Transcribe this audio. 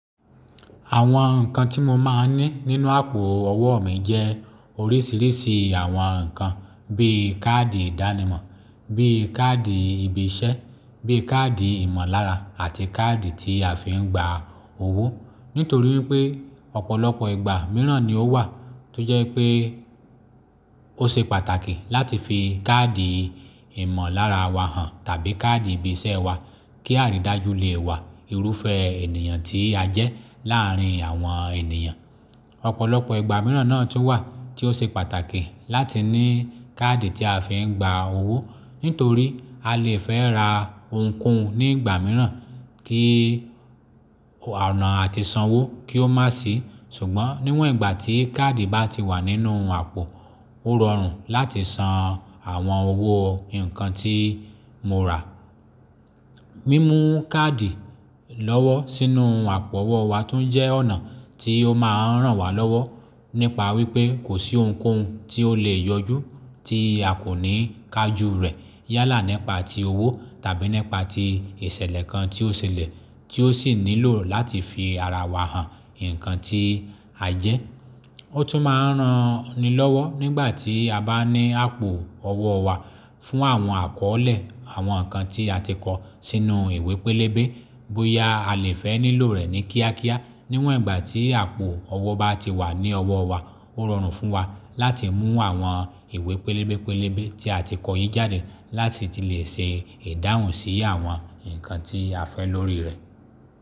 Àwọn nǹkan tí mo máa ń ní nínú àpò owó mi jẹ́ oríṣiríṣi àwọn nǹkan bí káàdì ìdánimọ̀, bí káàdì ibi iṣẹ́, bí káàdì ìmọ̀lára àti káàdì tí a fi ń gba owó. Nítorí wípé ọ̀pọ̀lọpọ̀ ìgbà mìíràn ni ó wà tó jẹ́ pé ó ṣe pàtàkì láti fi káàdì ìmọ̀lára wa hàn tàbí káàdì ibi iṣẹ́ wa kí á rí i dájú lé wa irúfẹ́ ènìyàn tí a jẹ́ láàárín àwọn ènìyàn. Ọ̀pọ̀lọpọ̀ ìgbà mìíràn náà tó wà tí ó ṣe pàtàkì láti ní káàdì tí a fi ń gba owó, nítorí a lè fẹ́ ra ohunkóhun ní ìgbà mìíràn kí ọ̀nà àti san owó kí ó má sì. Ṣùgbọ́n níwọ̀n ìgbà tí káàdì bá ti wà nínú àpò, ó rọrùn láti san àwọn owó nǹkan tí mo rà. Mímú káàdì lọ́wọ́ sínú àpò owó wa tún jẹ́ ọ̀nà tí ó máa ń ràn wá lọ́wọ́ nípa wípé kò sí ohunkóhun tí ó lè yọjú tí a kò ní ká jú rẹ̀ yálà nípa ti owó tàbí nípa ti ìṣẹ̀lẹ̀ kan tí ó ṣẹlẹ̀ tí ó sì nílò láti fi ara wa hàn nǹkan tí a jẹ́. Ó tún máa ń ràn nì lọ́wọ́ nígbà tí a bá ní àpò ọwọ́ wa fún àwọn àkọlẹ̀ àwọn nǹkan tí a ti kọ sínú ìwé pélébé. Bóyá a lè fẹ́ nílò rẹ̀ ní kíákíá. Níwọ̀n ìgbà tí àpò ọwọ́ bá ti wà ní ọwọ́ wa, ó rọrùn fún wa láti mú àwọn ìwé pélébé pélébé tí a ti kọ èyí jáde láti lè ṣe ìdáhùn sí àwọn nǹkan tí a fẹ́ lórí rẹ̀.